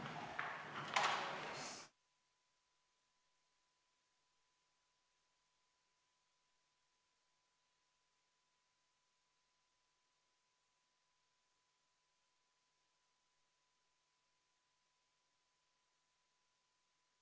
Istungi lõpp kell 13.00.